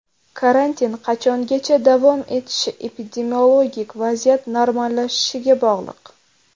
Karantin qachongacha davom etishi epidemiologik vaziyat normallashishiga bog‘liq .